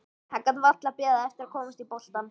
Hann gat varla beðið eftir að komast í boltann.